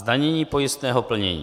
Zdanění pojistného plnění